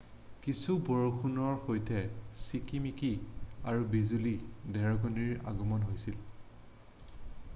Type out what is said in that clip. কিছু বৰষুণৰ সৈতে চিকিমিকি আৰু বিজুলী ধেৰেকণীৰ আগমণ হৈছিল